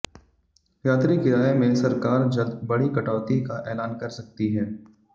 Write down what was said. यात्री किराए में सरकार जल्द बड़ी कटौती का ऐलान कर सकती है